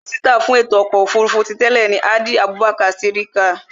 Mínísítà fún ètò ọkọ̀ òfurufú ti tẹ́ẹ̀ ni Hadi Abubakar Sirika